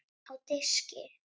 Á diski.